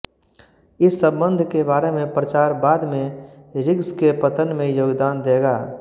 इस संबंध के बारे में प्रचार बाद में रिग्स के पतन में योगदान देगा